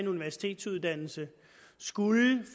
uddannelse